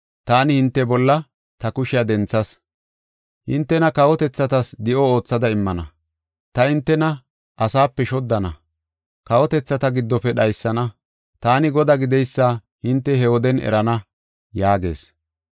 taani hinte bolla ta kushiya denthas. Hintena kawotethatas di7o oothada immana. Ta hintena asaape shoddana; kawotethata giddofe dhaysana. Taani Godaa gideysa hinte he woden erana’ ” yaagees.